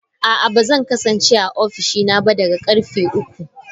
A'a, ba zan kasance a ofishina ba daga karfe uku.